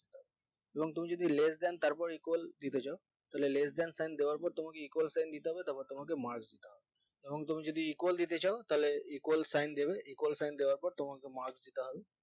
এবং তুমি যদি less than তারপর equal দিতে চাও তাহলে less than sign দেওয়ার পর তোমাকে equal sign দিয়তে হবে তারপর তোমাকে marks দিতে হবে এবং তুমি যদি equal দিতে চাও তাহলে equal sign দিবে equal sign দেওয়ার পর তোমাকে marks দিতে হবে